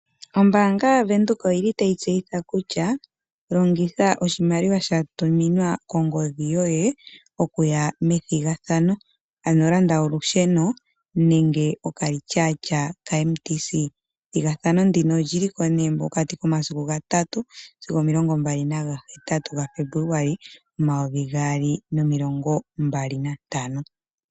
Ombanga yaVenduka oyili tayibtseyitha kutua longitha oshimaliwa shatuminqa kongodhi yoye okuya methigathano. Ano landa olusheno nenge okalityatya kaMtc. Ethigathano ndika olyili ko nee mokati k9masiku ga3-28 gaFebuluali 2025.